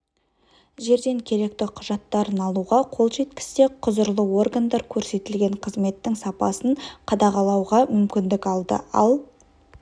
жерден керекті құжаттарын алуға қол жеткізсе құзырлы органдар көрсетліген қызметтің сапасын қадағалауға мүмкіндік алды ал